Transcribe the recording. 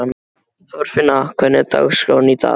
Þorfinna, hvernig er dagskráin í dag?